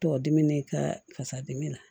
Tɔ dimi ka kasa dimi na